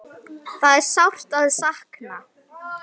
Það er sárt sakna.